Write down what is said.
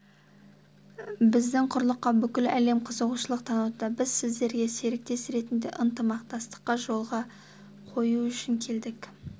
біздің құрлыққа бүкіл әлем қызығушылық танытуда біз сіздерге серіктес ретінде ынтымақтастықты жолға қою үшін келдік